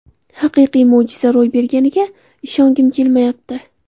Haqiqiy mo‘jiza ro‘y berganiga ishongim kelmayapti”.